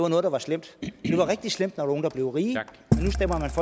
noget der var slemt det var rigtig slemt når nogle der blev rige